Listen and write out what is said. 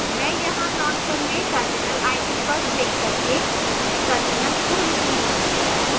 मैं यहाँ launcher में terminal icon पर क्लिक करके terminal खोलूँगा